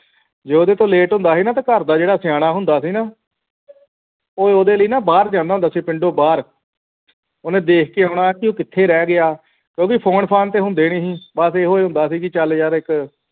ਜੇ ਉਹਦੇ ਤੋਂ late ਹੁੰਦਾ ਸੀ ਨਾ ਘਰ ਦਾ ਜਿਹੜਾ ਸਿਆਣਾ ਹੁੰਦਾ ਸੀ ਨਾ ਉਹ ਉਹਦੇ ਲਈ ਨਾ ਬਾਹਰ ਜਾਂਦਾ ਹੁੰਦਾ ਸੀ ਪਿੰਡੋਂ ਬਾਹਰ ਉਹਨੇ ਦੇਖ ਕੇ ਆਉਣਾ ਕਿ ਉਹ ਕਿੱਥੇ ਰਹਿ ਗਿਆ ਕਿਉਂਕਿ phone fane ਤੇ ਹੁੰਦੇ ਨਹੀਂ ਸੀ ਬਸ ਇਹੋ ਹੁੰਦਾ ਸੀ ਕਿ ਚਲ ਯਾਰ ਇਕ